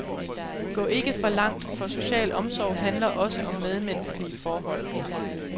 Gå ikke for langt, for social omsorg handler også om medmenneskelige forhold.